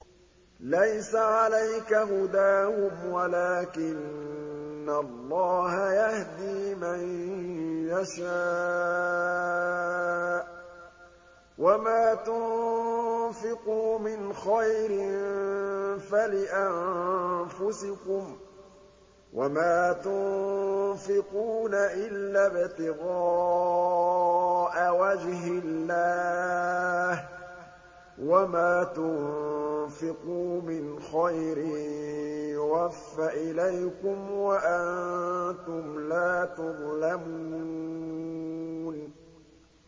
۞ لَّيْسَ عَلَيْكَ هُدَاهُمْ وَلَٰكِنَّ اللَّهَ يَهْدِي مَن يَشَاءُ ۗ وَمَا تُنفِقُوا مِنْ خَيْرٍ فَلِأَنفُسِكُمْ ۚ وَمَا تُنفِقُونَ إِلَّا ابْتِغَاءَ وَجْهِ اللَّهِ ۚ وَمَا تُنفِقُوا مِنْ خَيْرٍ يُوَفَّ إِلَيْكُمْ وَأَنتُمْ لَا تُظْلَمُونَ